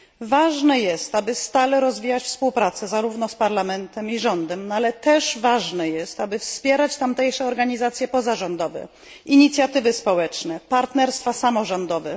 Ważne jest, aby stale rozwijać współpracę zarówno z parlamentem i rządem, ale też, aby wspierać tamtejsze organizacje pozarządowe, inicjatywy społeczne, partnerstwa samorządowe.